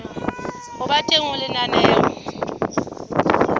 ho ba teng ha lenaneo